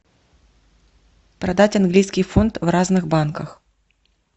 продать английский фунт в разных банках